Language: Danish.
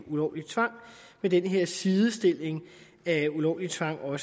ulovlig tvang ved den her sidestilling af ulovlig tvang og